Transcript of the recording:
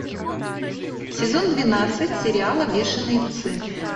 сезон двенадцать сериала бешеные псы